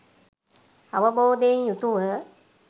අවබෝධයෙන් යුතුව